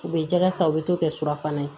U bɛ jɛgɛ san u bɛ to kɛ surafana ye